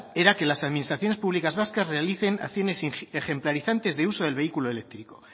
era que las administraciones públicas vascas realicen acciones ejemplarizantes de uso del vehículo eléctrico